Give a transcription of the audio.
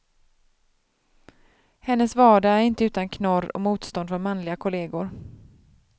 Hennes vardag är inte utan knorr och motstånd från manliga kollegor.